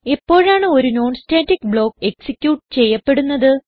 എപ്പോഴാണ് ഒരു non static block execute ചെയ്യപ്പെടുന്നത്